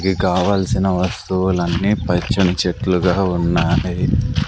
వి కావాల్సిన వస్తువులన్ని పచ్చని చెట్లుగా ఉన్నాయి.